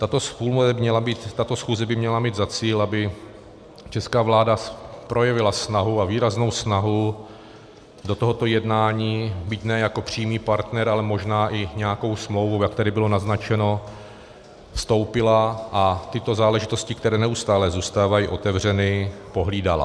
Tato schůze by měla mít za cíl, aby česká vláda projevila snahu, a výraznou snahu, do tohoto jednání byť ne jako přímý partner, ale možná i nějakou smlouvu, jak tady bylo naznačeno, vstoupila a tyto záležitosti, které neustále zůstávají otevřeny, pohlídala.